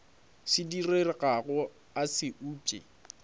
se diregago a se upše